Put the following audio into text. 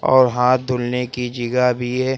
और हाथ धुलने की जीगा भी है।